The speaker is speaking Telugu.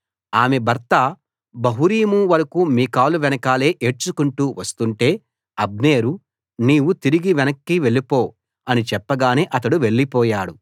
ఆమె భర్త బహూరీము వరకూ మీకాలు వెనకాలే ఏడ్చుకుంటూ వస్తుంటే అబ్నేరు నీవు తిరిగి వెనక్కి వెళ్ళిపో అని చెప్పగానే అతడు వెళ్లిపోయాడు